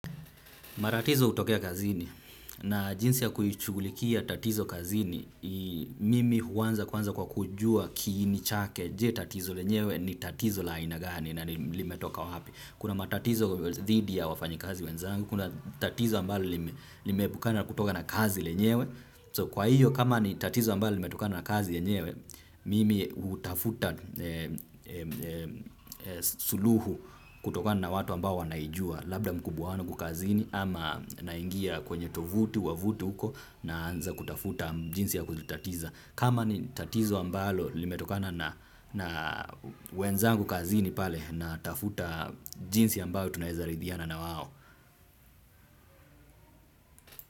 Matatizo hutokea kazini na jinsi ya kuishughulikia tatizo kazini mimi huanza kwanza kwa kujua kiini chake je tatizo lenyewe ni tatizo laina gani na limetoka wapi. Kuna matatizo dhidi ya wafanyi kazi wenzangu, kuna tatizo ambalo nimeepukana kutoka na kazi lenyewe. So kwa hiyo kama ni tatizo ambalo limetokana na kazi yenyewe mimi hutafuta suluhu kutokana na watu ambao wanaijua labda mkubwa niko kazini ama naingia kwenye tovuti wavuti huko naanza kutafuta jinsi ya kuzitatiza. Kama ni tatizo ambalo limetokana na wenzangu kazini pale na tafuta jinsi ambao tunaezaridhiana na wao.